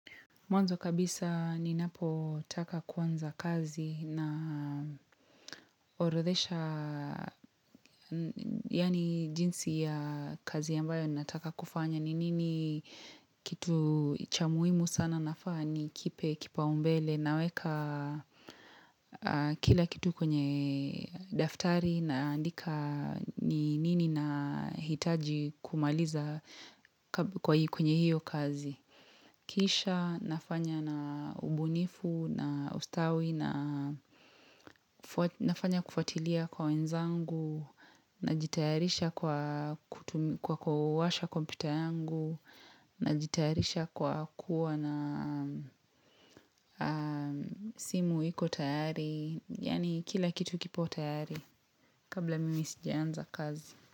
Mwanzo kabisa ninapo taka kuanza kazi na horothesha yani jinsi ya kazi yambayo nataka kufanya ni nini kitu chamuhimu sana nafaa ni kipe kipao mbele naweka kila kitu kwenye daftari na andika ni nini na hitaji kumaliza kwenye hiyo kazi. Kisha nafanya na ubunifu na ustawi na nafanya kufuatilia kwa wenzangu najitayarisha kwa washa kompiuta yangu najitayarisha kwa kuwa na simu hiko tayari Yani kila kitu kipo tayari kabla mimi sijeanza kazi.